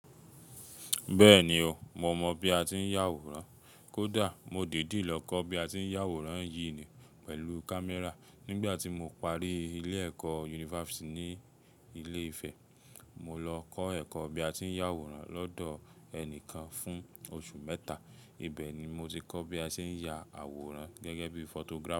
Bẹ́ẹ̀ni o, mo mọ̀ bí a ti ń yá àwòrán. Kódà mo dìdí lọ kọ́ bí a ti ń yá àwòrán yìí ni pẹ̀lú camera. Nígbà tí mo parí ilé ẹ̀kọ́ yunifásítì ní ilé Ifẹ̀, mo lọ kọ́ ẹ̀kọ́ bí a ti ń yá àwòrán lọ́dọ̀ ẹnìkan fún oṣù mẹ́ta. Ibẹ̀ ni mo ti kọ́ bí a ṣe ń ya àwòrán gẹ́gẹ́ bí photographer.